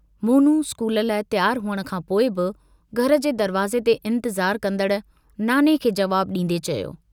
Monu school लाइ तियारु हुअण खां पोइ बि घर जे दरवाज़े ते इन्तज़ार कंदड़ नाने खे जवाबु डींदे चयो।